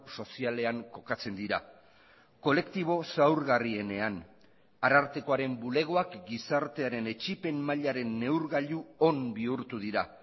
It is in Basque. sozialean kokatzen dira kolektibo zaurgarrienean arartekoaren bulegoak gizartearen etsipen mailaren neurgailu on bihurtu dira